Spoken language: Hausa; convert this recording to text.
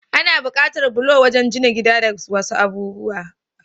Ana bukatar bulo wajan jina gida da wasu abubuwa.